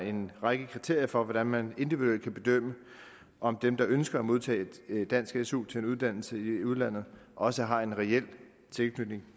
en række kriterier for hvordan man individuelt kan bedømme om dem der ønsker at modtage dansk su til en uddannelse i udlandet også har en reel tilknytning